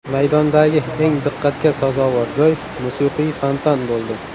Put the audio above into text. Maydondagi eng diqqatga sazovor joy musiqiy fontan bo‘ldi.